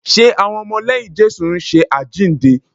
Ṣe àwọn ọmọ lẹ́yìn Jésù ń ṣe àjíǹde?